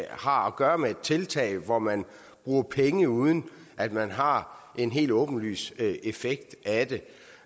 har at gøre med et tiltag hvor man bruger penge uden at man har en helt åbenlys effekt